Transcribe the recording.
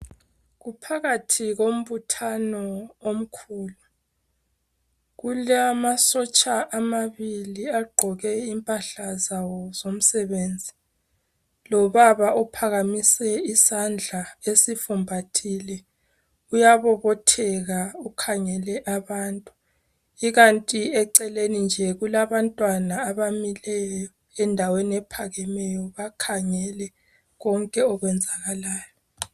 Kuphakathi kombuthano omkhulu kulamasotsha amabili agqoke impahla zabo zomsebenzi lobaba ophakamise isandla esifumbathile uyabobotheka ukhangele abantu ikant eceleni njee kulabantwana abamileyo endaweni ephakemeyo bakhangeke konke okwenzakalayo